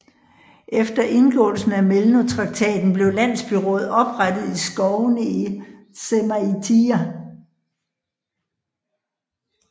Efter indgåelsen af Melno traktaten blev landsbyråd oprettet i skovene i Žemaitija